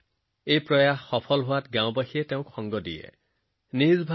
তেওঁৰ এই প্ৰচেষ্টাই ভাল ফলাফল দিবলৈ আৰম্ভ কৰাৰ পিছত গাঁৱৰ বাকী মানুহবোৰেও তেওঁৰ লগত যোগ দিলে